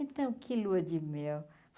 Então, que lua de mel.